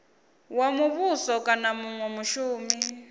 wa muvhuso kana munwe mushumi